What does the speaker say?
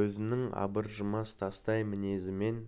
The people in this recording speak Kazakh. өзінің абыржымас тастай мінезімен